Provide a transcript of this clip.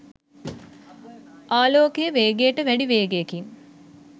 ආලෝකයේ වේගයට වැඩි වේගයකින්